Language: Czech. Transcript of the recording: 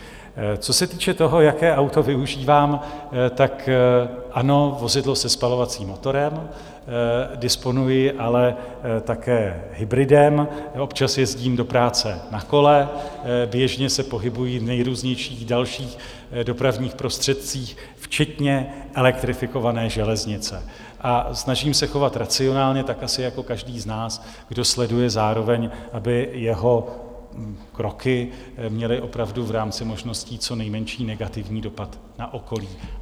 Co se týče toho, jaké auto využívám: tak ano, vozidlo se spalovacím motorem, disponuji ale také hybridem, občas jezdím do práce na kole, běžně se pohybuji v nejrůznějších dalších dopravních prostředcích včetně elektrifikované železnice a snažím se chovat racionálně, tak asi jako každý z nás, kdo sleduje zároveň, aby jeho kroky měly opravdu v rámci možností co nejmenší negativní dopad na okolí.